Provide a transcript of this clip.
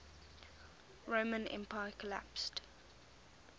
roman empire collapsed